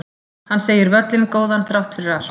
Hann segir völlinn góðan þrátt allt